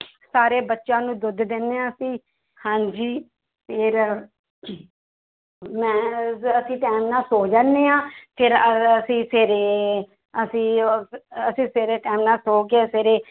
ਸਾਰੇ ਬੱਚਿਆਂ ਨੂੰ ਦੁੱਧ ਦਿੰਦੇ ਹਾਂ ਅਸੀਂ ਹਾਂਜੀ ਫਿਰ ਮੈਂ ਅਸੀਂ time ਨਾਲ ਸੌ ਜਾਂਦੇ ਹਾਂ ਫਿਰ ਅਹ ਅਸੀਂ ਫਿਰ ਅਸੀਂ ਉਹ ਅਸੀਂ ਸਵੇਰੇ time ਨਾਲ ਸੌ ਕੇ ਸਵੇਰੇ